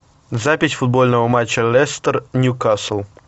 запись футбольного матча лестер ньюкасл